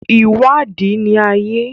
Ìwádìí ni ayé.